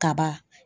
Kaba